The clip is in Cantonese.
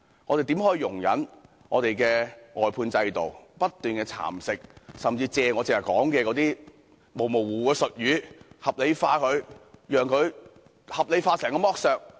我們怎可以容忍外判制度不斷蠶食，甚至透過我剛才提及的模糊術語合理化所有剝削？